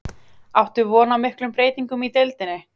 Áttu von á miklum breytingum í deildinni?